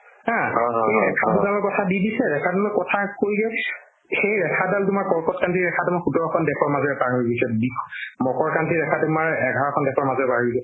haa সেই ৰেখা দুডালৰ কথা দি দিছে ৰেখা দুডালৰ কথা কৈ দিও সেই ৰেখাডাল তোমাৰ কৰ্কটক্ৰান্তি ৰেখা তোমাৰ সোতৰখন দেশৰ মাজেৰে পাৰ হৈ গৈছে বিষ মকৰক্ৰান্তি ৰেখা তোমাৰ এঘাৰখন দেশৰ মাজেৰে পাৰ হৈ গৈছে